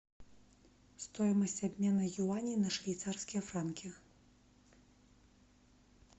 стоимость обмена юаней на швейцарские франки